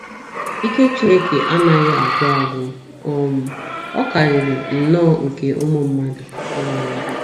Ike Chineke anaghị agwụ agwụ um, ọ karịrị nnọọ nke ụmụ mmadụ um.